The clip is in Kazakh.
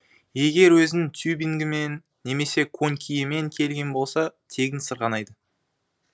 егер өзінің тюбингімен немесе конькиімен келген болса тегін сырғанайды